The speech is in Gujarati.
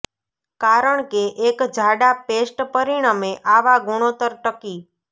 કારણ કે એક જાડા પેસ્ટ પરિણમે આવા ગુણોત્તર ટકી